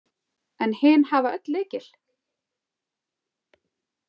En hin hafa öll lykil?